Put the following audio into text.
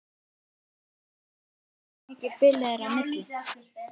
Hersir: Getið þið gefið upp hversu mikið bilið er á milli?